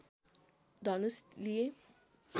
धनुष लिए